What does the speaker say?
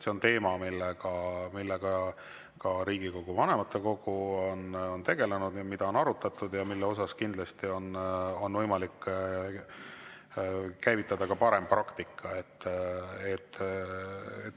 See on teema, millega ka Riigikogu vanematekogu on tegelenud, seda on arutatud ja selle puhul on kindlasti võimalik käivitada parem praktika.